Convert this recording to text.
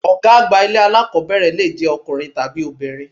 Ọ̀gá àgbà ilé alákọ̀ọ́bẹ̀rẹ̀ lè jẹ́ ọkùnrin tàbí obìnrin.